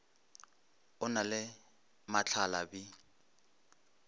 o na le mahla bi